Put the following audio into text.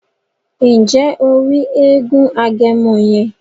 Nje o ri èègún Agẹmọ yẹn?